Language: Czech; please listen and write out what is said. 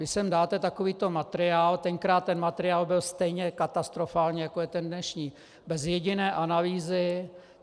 Vy sem dáte takovýto materiál, tenkrát ten materiál byl stejně katastrofální, jako je ten dnešní, bez jediné analýzy.